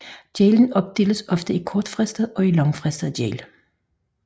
Gælden opdeles ofte i kortfristet og langfristet gæld